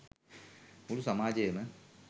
මුළු සමාජයම